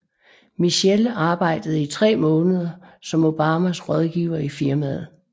Michelle arbejdede i tre måneder som Obamas rådgiver i firmaet